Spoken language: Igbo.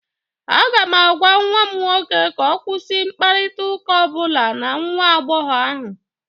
Aga m agwa nwa m nwoke ka ọ kwụsị mkparịta ụka ọ bụla na nwa agbọghọ ahụ